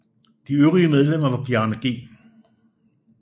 De øvrige medlemmer var Bjarne G